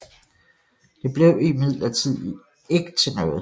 Det blev imidlertid ikke til noget